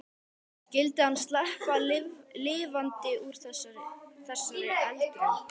Skyldi hann sleppa lifandi úr þessari eldraun?